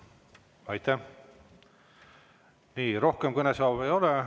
Nii, rohkem kõnesoove ei ole ja tänased päevakorrapunktid on.